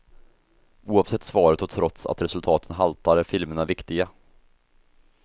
Oavsett svaret och trots att resultaten haltar är filmerna viktiga.